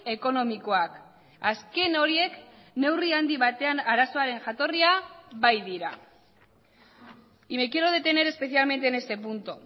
ekonomikoak azken horiek neurri handi batean arazoaren jatorria baitira y me quiero detener especialmente en este punto